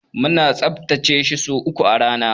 Muna tsaftace shi sau uku a rana.